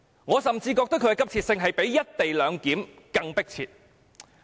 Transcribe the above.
我甚至認為它比"一地兩檢"更急切。